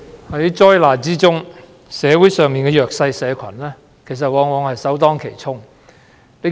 主席，在災難中，社會上的弱勢社群往往是首當其衝的受害者。